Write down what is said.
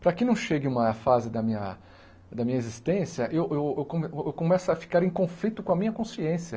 Para que não chegue uma fase da minha da minha existência, eu eu eu co eu começo a ficar em conflito com a minha consciência.